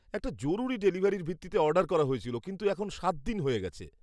এটা জরুরি ডেলিভারির ভিত্তিতে অর্ডার করা হয়েছিল কিন্তু এখন সাত দিন হয়ে গেছে।